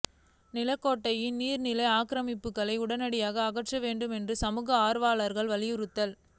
நிலக்கோட்டையில் நீர்நிலை ஆக்கிரமிப்புகளை உடனடியாக அகற்ற வேண்டும் சமூக ஆர்வலர்கள் வலியுறுத்தல்